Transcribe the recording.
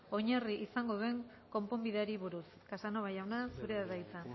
oinarri izango duen konponbideari buruz casanova jauna zurea da hitza